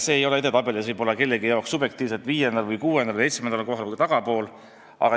See ei ole edetabelis võib-olla kellegi jaoks subjektiivselt viiendal, kuuendal või seitsmendal kohal või tagapool.